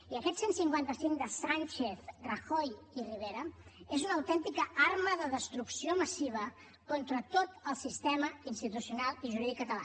i aquest cent i cinquanta cinc de sánchez rajoy i rivera és una autèntica arma de destrucció massiva contra tot el sistema institucional i jurídic català